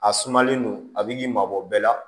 A sumalen don a bɛ k'i mabɔ bɛɛ la